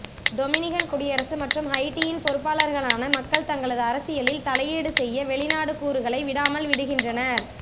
Dominican குடியரசு மற்றும் ஹைட்டியின் பொறுப்பாளர்களான மக்கள் தங்களது அரசியலில் தலையீடு செய்ய வெளிநாட்டு கூறுகளை விடாமல் விடுகின்றனர்